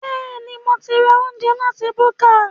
Bẹ́ẹ̀ni, mo ti ra oúnjẹ láti búkà